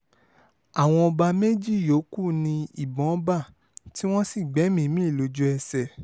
àwọn ọba méjì yòókù ni ìbọn bá tí wọ́n sì gbẹ̀mí-ín mi lójú-ẹsẹ̀